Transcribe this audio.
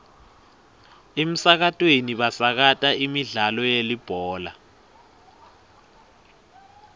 emsakatweni basakata imidlalo yelibhola